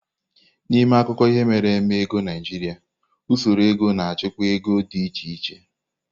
N'ime akụkọ ihe mere eme ego Naijiria usoro ego na achịkwaa ego di iche iche.